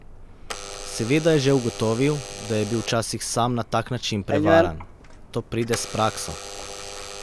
Seveda je že ugotovil, da je bil včasih sam na tak način prevaran: 'To pride s prakso.